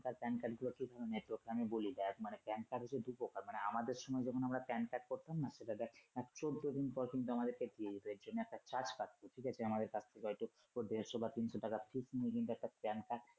Pan card গুলো কি নেপথ্যে আমি বলি দেখ মানে Pan card হচ্ছে দু প্রকার আমাদের সময় যখন আমরা Pan card করতাম না সেটা চৌদ্দ দিন পর কিন্তু আমাদের কে দিয়ে দিতো কিন্তু এর জন্য একটা charge কাটতো ঠিক আছে আমাদের কাছ থেকে দেড়শ বা তিনশ টাকার fess নিয়ে কিন্তু একটা Pan card